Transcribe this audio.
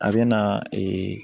A bɛ na ee